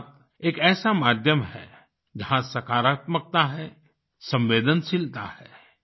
मन की बात एक ऐसा माध्यम है जहाँ सकारात्मकता है संवेदनशीलता है